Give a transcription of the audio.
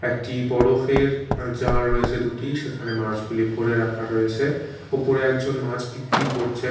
একটি বরফের আঃ জার রয়েছে দুটি সেখানে মাছগুলি ভরে রাখা রয়েছে ওপরে একজন মাছ বিক্রি করছেন।